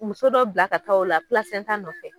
Muso dɔ bila ka taa ola nɔfɛ.